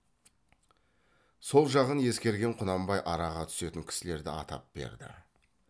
сол жағын ескерген құнанбай араға түсетін кісілерді атап берді